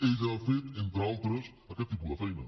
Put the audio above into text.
ella ha fet entre altres aquest tipus de feina